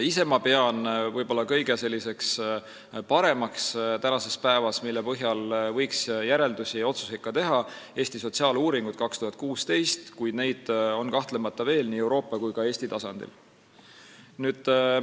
Ise pean ma võib-olla kõige paremaks uuringuks, mille põhjal võiks järeldusi ja otsuseid teha, "Eesti sotsiaaluuringut 2016", kuid neid uuringuid on nii Euroopa kui ka Eesti tasandil kahtlemata veel.